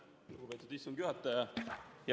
Lugupeetud istungi juhataja!